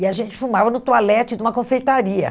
E a gente fumava no toalete de uma confeitaria.